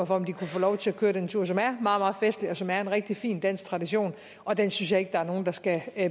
for om de kunne få lov til at køre den tur som er meget festlig og som er en rigtig fin dansk tradition og den synes jeg ikke at der er nogen der skal